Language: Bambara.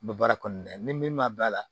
N bɛ baara kɔnɔna la ni min ma ban a la